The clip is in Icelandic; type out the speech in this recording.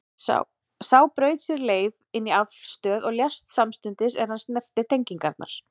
Sá braut sér leið inn í aflstöð og lést samstundis er hann snerti tengingarnar.